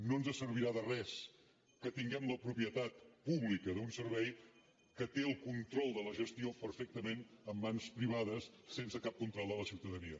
no ens servirà de res que tinguem la propietat pública d’un servei que té el control de la gestió perfectament en mans privades sense cap control de la ciutadania